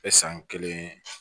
E san kelen